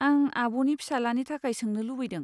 आं आब'नि फिसालानि थाखय सोंनो लुबैदों।